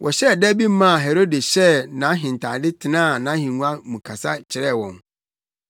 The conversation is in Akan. Wɔhyɛɛ da bi maa Herode hyɛɛ nʼahentade tenaa nʼahengua mu kasa kyerɛɛ wɔn.